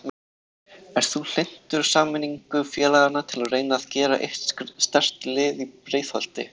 Ert þú hlynntur sameiningu félagana til að reyna að gera eitt sterkt lið í Breiðholti?